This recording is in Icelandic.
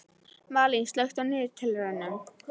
Malín, slökktu á niðurteljaranum.